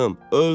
Öldüm!